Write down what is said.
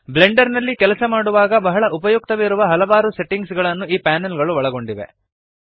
Blender ನಲ್ಲಿ ಕೆಲಸ ಮಾಡುವಾಗ ಬಹಳ ಉಪಯುಕ್ತವಿರುವ ಹಲವಾರು ಸೆಟ್ಟಿಂಗ್ ಗಳನ್ನು ಈ ಪ್ಯಾನಲ್ ಗಳು ಒಳಗೊಂಡಿವೆ